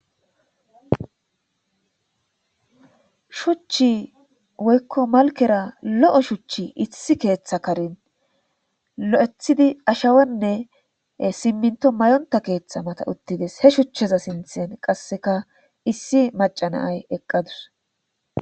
shuchchi woykko malkera lo7o shuchchi issi keeththa karin lo7ethidi ashawenne simminto mayonta keeththa mata uttides he shuchcheza sinthen qasseka issi macanaay eqqadus